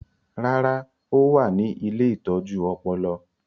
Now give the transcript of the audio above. Rárá, ó wà ní “ ilé ìtọ́jú ọpọlọ ”